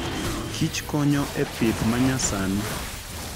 Kich konyo epith manyasani